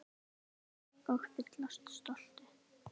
Helga: Og fyllast stolti?